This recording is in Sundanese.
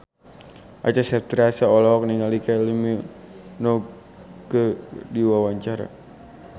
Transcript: Acha Septriasa olohok ningali Kylie Minogue keur diwawancara